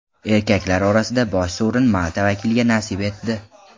Erkaklar orasida bosh sovrin Malta vakiliga nasib etdi.